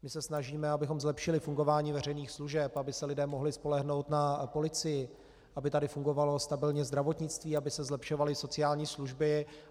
My se snažíme, abychom zlepšili fungování veřejných služeb, aby se lidé mohli spolehnout na policii, aby tady fungovalo stabilně zdravotnictví, aby se zlepšovaly sociální služby.